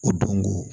O don ko